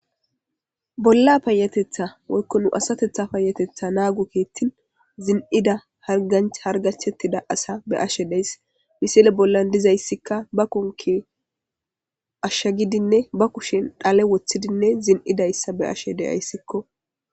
Bolla payatetha woykko nu asatetha payatetha naagu kiittin zin7ida ac hargachettida asa be ashe deys misile bollan dizayssikka ba konki ashsha gidinne ba kushen dhale woththidinne zin7idayssa be ashe deyayssikko.